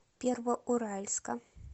первоуральска